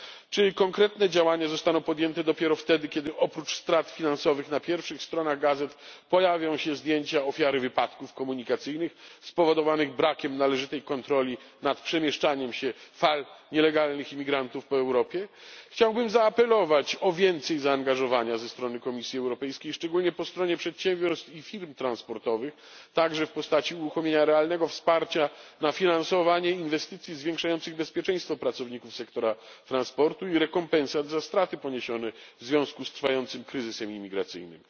Czy konkretne działania zostaną podjęte dopiero wtedy, kiedy oprócz strat finansowych na pierwszych stronach gazet pojawią się zdjęcia ofiar wypadków komunikacyjnych spowodowanych brakiem należytej kontroli nad przemieszczaniem się fal nielegalnych imigrantów po Europie? Chciałbym zaapelować o więcej zaangażowania ze strony Komisji Europejskiej, szczególnie na rzecz przedsiębiorstw i firm transportowych, także w postaci uruchomienia realnego wsparcia na finansowanie inwestycji zwiększających bezpieczeństwo pracowników sektora transportu i rekompensat za straty poniesione w związku z trwającym kryzysem imigracyjnym.